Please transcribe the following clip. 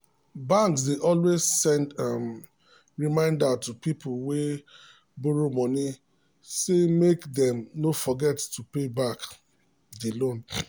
banks dey always send um reminder to people wey um borrow money say make um dem no forget to pay back dia loan.